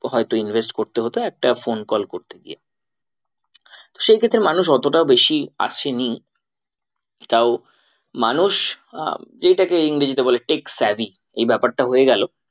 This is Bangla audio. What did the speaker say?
হয়তো invest করতে হতো একটা phone call করতে গিয়ে সেই ক্ষেত্রে মানুষ এতটা বেশি আসেনি তাও মানুষ আহ এইটাকে ইংরেজিতে বলে tech savvy এই ব্যাপারটা হয়ে গেলো।